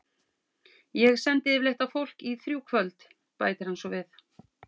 Ég sendi yfirleitt á fólk í þrjú kvöld, bætir hann svo við.